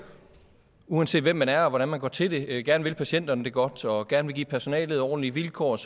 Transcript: uanset hvem man er og hvordan man går til det gerne vil patienterne det godt og gerne vil give personalet ordentlige vilkår og